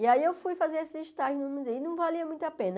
E aí eu fui fazer esse estágio no mu e não valia muito a pena.